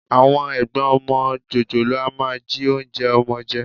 Àwọn ẹ̀gbọ́n ọmọ jòjòló a máa jí oúnjẹ ọmọ jẹ